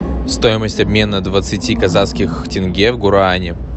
стоимость обмена двадцати казахских тенге в гуарани